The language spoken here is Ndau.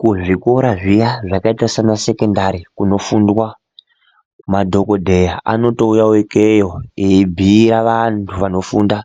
Kuzvikora zviya zvakaita sanasekondari kunofundwa madhogodheya anotouyavo ikeyo eibhuira antu anofunda